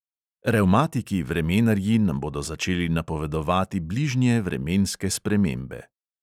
Revmatiki vremenarji nam bodo začeli napovedovati bližnje vremenske spremembe.